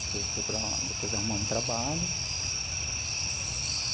Depois procurar... Depois arrumar um trabalho.